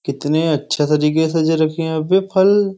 कितने अच्छे तरीके सज रखे यहाँ पे फल।